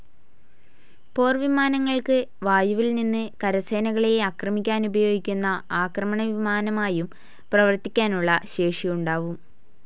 പോർവിമാനങ്ങൾക്ക് വായുവിൽനിന്ന് കരസേനകളെ ആക്രമിക്കാനുപയോഗിക്കുന്ന ആക്രമണ വിമാനമായും പ്രവർത്തിക്കാനുള്ള ശേഷിയുണ്ടാവും.